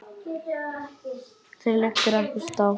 Þér liggur ekkert á.